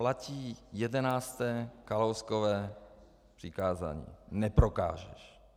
Platí jedenácté Kalouskovo přikázání - neprokážeš.